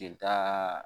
Jelita